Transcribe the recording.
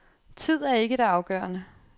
Tid er ikke det afgørende.